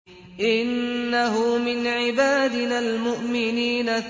إِنَّهُ مِنْ عِبَادِنَا الْمُؤْمِنِينَ